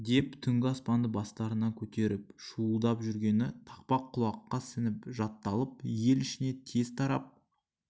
деп түнгі аспанды бастарына көтеріп шуылдап жүргені тақпақ құлаққа сіңіп жатталып ел ішіне тез тарап